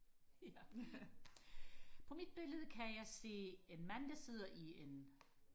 ja på mit billede kan jeg se en mand der sidder i en